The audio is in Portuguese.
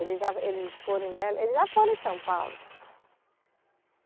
Eles já, eles foram em Be, eles já foram em São Paulo.